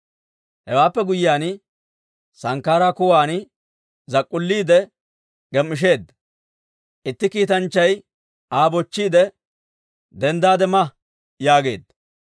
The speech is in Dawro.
Hewaappe guyyiyaan sankkaaraa kuwan zak'k'ulliide gem"ishsheedda; itti kiitanchchay Aa bochchiide, «Denddaade ma» yaageedda.